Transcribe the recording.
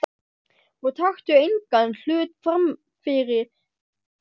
Og taktu engan hlut frammyfir Guð.